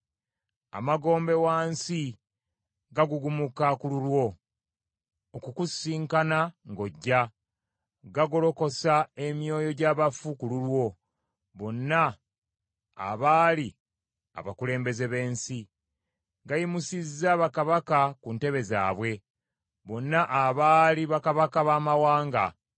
Amagombe wansi gagugumuka ku lulwo okukusisinkana ng’ojja, gagolokosa emyoyo gy’abafu ku lulwo, bonna abaali abakulembeze b’ensi; gayimusizza bakabaka ku ntebe zaabwe, bonna abaali bakabaka baamawanga.